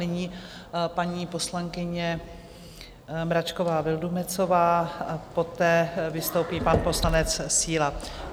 Nyní paní poslankyně Mračková Vildumetzová a poté vystoupí pan poslanec Síla.